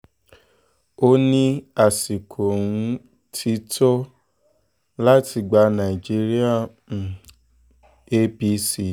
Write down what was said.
ó ní àsìkò um ti tó láti gba nàìjíríà lọ́wọ́ um apc